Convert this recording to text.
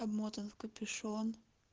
обмотан в капюшон